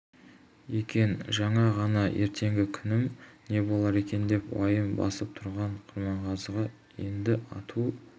екен жаңа ғана ертеңгі күнім не болар екен деп уайым басып тұрған құрманғазыға енді ату